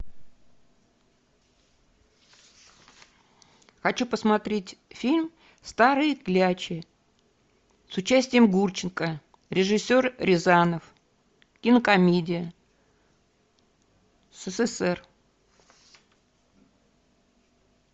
хочу посмотреть фильм старые клячи с участием гурченко режиссер рязанов кинокомедия ссср